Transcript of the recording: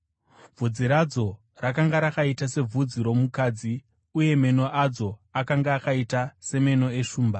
Bvudzi radzo rakanga rakaita sebvudzi romukadzi, uye meno adzo akanga akaita semeno eshumba.